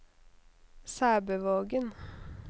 Sæbøvågen